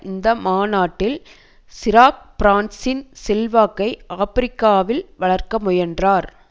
இந்த மாநாட்டில் சிராக் பிரான்சின் செல்வாக்கை ஆப்பிரிக்காவில் வளர்க்க முயன்றார்